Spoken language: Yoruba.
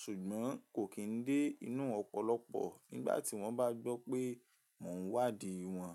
ṣùgbọ́n kò kì í dé inú ọ̀pọ̀lọpọ̀ nígbà tí wọ́n bá gbọ́ pé mò ń wádìí wọn.